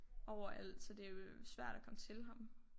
Overalt så det er jo svært at komme til ham